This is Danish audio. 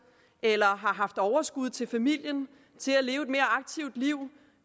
eller har haft overskud til familien til at leve et mere aktivt liv